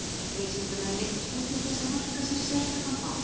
Vísindamenn neyddust nú til þess að marka sér sérstakan bás.